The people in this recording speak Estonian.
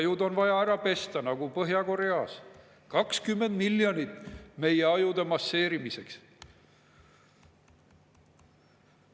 Ajud on vaja ära pesta nagu Põhja-Koreas, 20 miljonit meie ajude masseerimiseks.